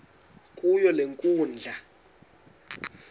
kuyo le nkundla